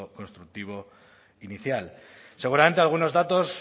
constructivo inicial seguramente algunos datos